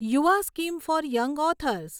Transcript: Yuva scheme for young authors